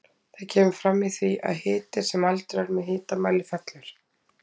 Það kemur fram í því að hiti sem mældur er með hitamæli fellur.